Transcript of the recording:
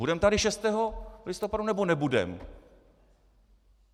Budeme tady 6. listopadu, nebo nebudeme?